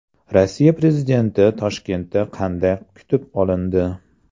Rossiya prezidenti Toshkentda qanday kutib olindi .